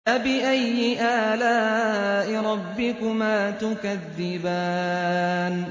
فَبِأَيِّ آلَاءِ رَبِّكُمَا تُكَذِّبَانِ